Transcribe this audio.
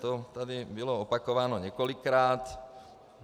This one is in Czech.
To tady bylo opakováno několikrát.